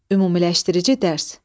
Ümumiləşdirici dərs.